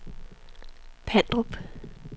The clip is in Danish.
Pandrup